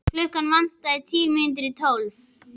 Klukkuna vantaði tíu mínútur í tólf.